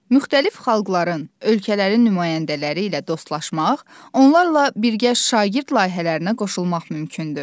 Müxtəlif xalqların, ölkələrin nümayəndələri ilə dostlaşmaq, onlarla birgə şagird layihələrinə qoşulmaq mümkündür.